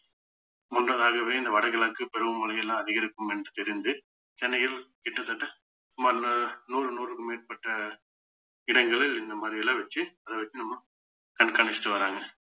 முன்னதாகவே இந்த வடகிழக்கு பருவமழை எல்லாம் அதிகரிக்கும் என்று தெரிந்து சென்னையில் கிட்டத்தட்ட சுமார் நூறு நூறுக்கும் மேற்பட்ட இடங்களில் இந்த மாதிரி எல்லாம் வச்சு அதை வச்சு நம்ம கண்காணிச்சிட்டு வர்றாங்க